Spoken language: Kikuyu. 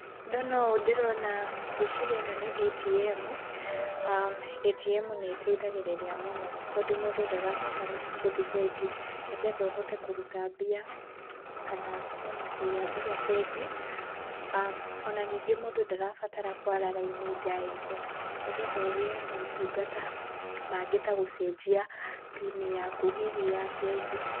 Ndona ũũ ndĩrona, ngwĩciria ĩno nĩ ATM, ATM nĩ ĩteithagĩrĩria mũno tondũ mũndũ ndarabatara gũthiĩ bengi nĩgetha ũhote kũruta mbia, kana ona kũiga mbia bengi, ona ningĩ mũndũ ndarabatara kwara raini ndaihu nĩgetha ũgĩe motungata mangĩ ta gũcenjia pini yaku hihi ya bengi.